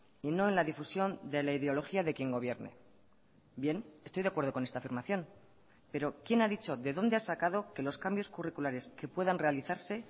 y no en la difusión de la ideología de quien gobierne bien estoy de acuerdo con esta afirmación pero quién ha dicho de dónde ha sacado que los cambios curriculares que puedan realizarse